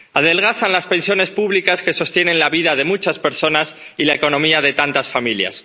Adelgazan las pensiones públicas que sostienen la vida de muchas personas y la economía de tantas familias.